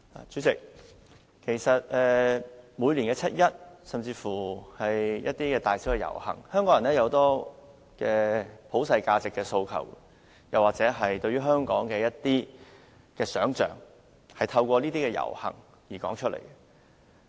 主席，在每年的七一遊行或是其他大小遊行，香港人提出很多對普世價值的訴求，或對香港一些現象的不滿，透過遊行表達出來。